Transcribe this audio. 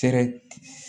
Fɛɛrɛ